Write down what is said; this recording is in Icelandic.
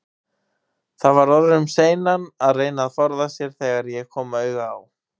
Það var orðið um seinan að reyna að forða sér, þegar ég kom auga á